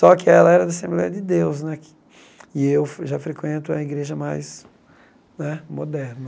Só que ela era da Assembleia de Deus né que , e eu já frequento a igreja mais né moderna.